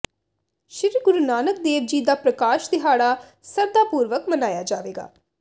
ਸ੍ਰੀ ਗੁਰੂ ਨਾਨਕ ਦੇਵ ਜੀ ਦਾ ਪ੍ਰਕਾਸ਼ ਦਿਹਾੜਾ ਸਰਧਾ ਪੁਰਵਕ ਮਨਾਇਆ ਜਾਵੇਗਾ